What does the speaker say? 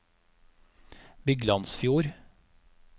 Byglandsfjord